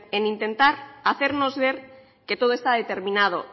en intentar hacernos ver que todo está determinado